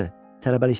Tələbəlikdən.